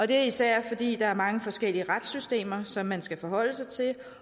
det er især fordi der er mange forskellige retssystemer som man skal forholde sig til